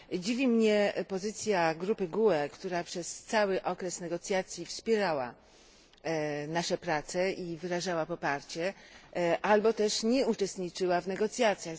Dziwi mnie pozycja grupy GUE, która przez cały okres negocjacji wspierała nasze prace i wyrażała poparcie, albo też nie uczestniczyła w negocjacjach.